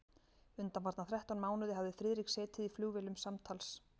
Undanfarna þrettán mánuði hafði Friðrik setið í flugvélum samtals